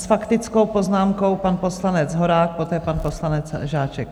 S faktickou poznámkou pan poslanec Horák, poté pan poslanec Žáček.